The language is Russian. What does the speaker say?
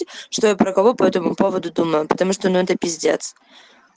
что я про кого по этому поводу думают потому что ну это пиздец